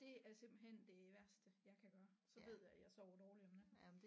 Det er simpelthen det værste jeg kan gøre så ved jeg at jeg sover dårligt om natten